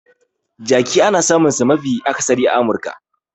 Jerky ana samunsa mafi akasari a Amurka.